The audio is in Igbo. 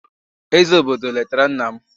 eze obodo letara nna m.